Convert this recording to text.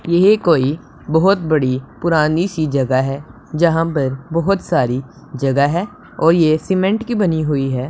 ये ही कोई बहोत बड़ी पुरानी सी जगह है जहां पर बहोत सारी जगह है और ये सीमेंट की बनी हुई है।